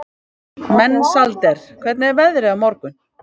Mensalder, hvernig er veðrið á morgun?